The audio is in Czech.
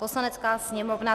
Poslanecká sněmovna